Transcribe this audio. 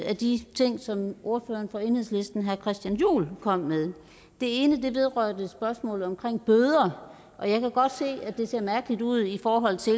af de ting som ordføreren fra enhedslisten herre christian juhl kom med det ene vedrørte spørgsmålet om bøder og jeg kan godt se at det ser mærkeligt ud i forhold til